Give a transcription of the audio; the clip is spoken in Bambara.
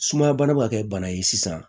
Sumaya bana ma kɛ bana ye sisan